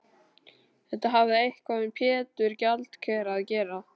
Þetta hafði eitthvað með Pétur gjaldkera að gera.